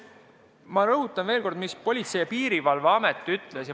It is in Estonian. Ma rõhutan ka, mida Politsei- ja Piirivalveamet ütles.